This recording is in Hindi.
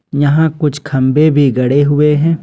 यहां कुछ खंभे भी गड़े हुए हैं।